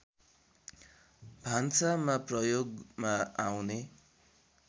भान्सामा प्रयोगमा आउने